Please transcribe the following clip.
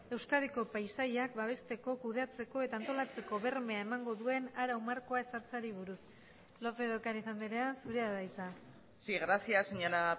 euskadiko paisaiak babesteko kudeatzeko eta antolatzeko bermea emango duen arau markoa ezartzeari buruz lópez de ocariz andrea zurea da hitza sí gracias señora